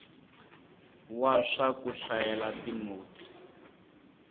wa swa ku hlayela tinotsi